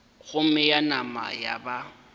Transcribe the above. gomme ya nama ya ba